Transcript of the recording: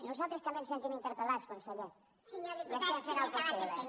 nosaltres també ens sentim interpel·lats conseller i estem fent el possible